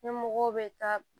Ɲɛmɔgɔw bɛ taa